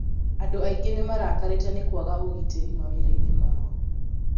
andũ aingĩ nĩmarakarĩte nĩ kwaga ũgitĩri mawĩra-inĩ mao